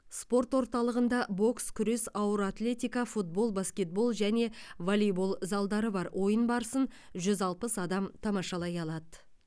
спорт орталығында бокс күрес ауыр атлетика футбол баскетбол және волейбол залдары бар ойын барысын жүз алпыс адам тамашалай алады